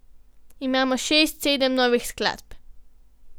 Imamo šest, sedem novih skladb.